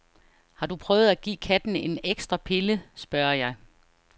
Har du prøvet at give katten en ekstra pille, spørger jeg.